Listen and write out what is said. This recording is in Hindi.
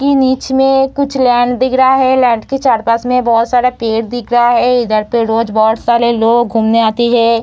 इ नीच में कुछ लेंड दिख है लेंड के चारपास में बहोत सारा पेड़ दिख रहा है इधर पे रोज बोट सारे लोग घूमने आती है।